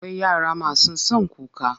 Akwai yara masu son kuka.